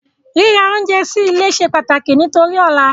Ríra oúnjẹ sí ilé se pàtàkì nítorí ọ̀la